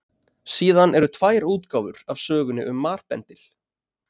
Síðan eru tvær útgáfur af sögunni um marbendil.